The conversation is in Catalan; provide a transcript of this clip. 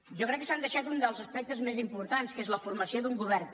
jo crec que s’han deixat un dels aspectes més importants que és la formació d’un govern